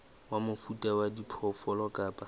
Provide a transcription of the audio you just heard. wa mofuta wa diphoofolo kapa